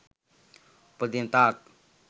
උපදින තාක්